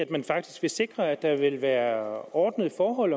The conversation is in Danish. at man faktisk vil sikre at der vil være ordnede forhold